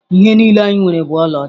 Ihe niile anyị nwere bụ ọlaọcha.